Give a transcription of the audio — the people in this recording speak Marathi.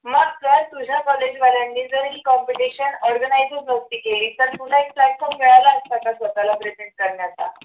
मग जर तुझ्या college वाल्यांनी जर ही competition organize नसती केली तर तुला एक platform मिळाला असता का स्वतःला updated करण्याचा